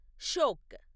Shyok